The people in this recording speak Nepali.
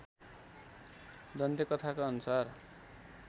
दन्त्यकथाका अनुसार